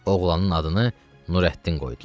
Oğlanın adını Nurəddin qoydular.